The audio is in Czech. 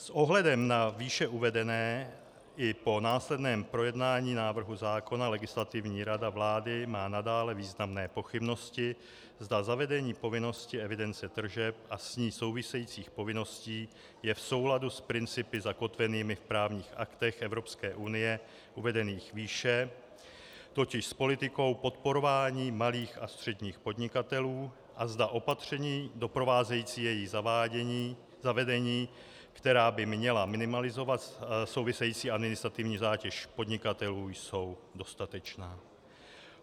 S ohledem na výše uvedené i po následném projednání návrhu zákona Legislativní rada vlády má nadále významné pochybnosti, zda zavedení povinnosti evidence tržeb a s ní souvisejících povinností je v souladu s principy zakotvenými v právních aktech Evropské unie uvedených výše, totiž s politikou podporování malých a středních podnikatelů, a zda opatření doprovázející jejich zavedení, která by měla minimalizovat související administrativní zátěž podnikatelů, jsou dostatečná.